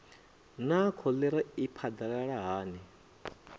naa kholera i phadalala hani